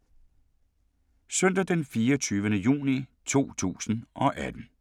Søndag d. 24. juni 2018